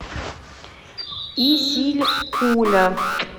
исилькуля